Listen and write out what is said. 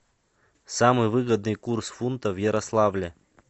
самый выгодный курс фунта в ярославле